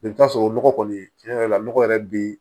I bɛ t'a sɔrɔ nɔgɔ kɔni tiɲɛ yɛrɛ la nɔgɔ yɛrɛ bɛ yen